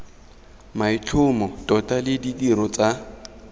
maitlhomo tota le ditiro tsa